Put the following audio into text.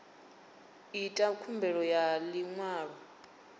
ita khumbelo ya ḽi ṅwalo